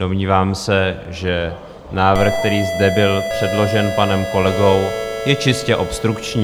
Domnívám se, že návrh, který zde byl předložen panem kolegou, je čistě obstrukční.